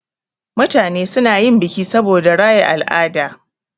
Mutane suna yin biki saboda raya al'ada.